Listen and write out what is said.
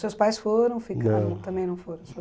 Seus pais foram, não, ficaram, também não foram?